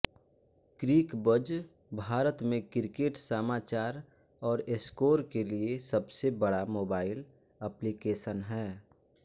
Cricbuzz Bharat में cricket समाचार और स्कोर के लिए सबसे बड़ा मोबाइल एप्लिकेशन है